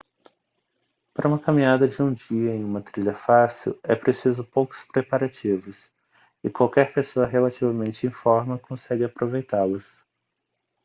para uma caminhada de um dia em uma trilha fácil é preciso poucos preparativos e qualquer pessoa relativamente em forma consegue aproveitá-las